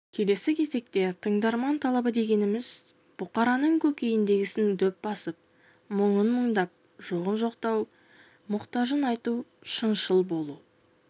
келесі кезекте тыңдарман талабы дегеніміз бұқараның көкейіндегісін дөп басып мұңын мұңдап жоғын жоқтау мұқтажын айту шыншыл болу